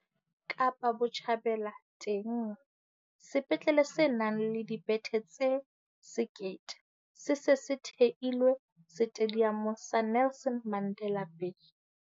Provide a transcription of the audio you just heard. Kapa Botjhabela teng, sepetlele se nang le dibethe tse 1 000 se se se theilwe Setediamong sa Nelson Mandela Bay.